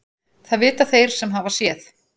Það vita þeir sem hafa séð.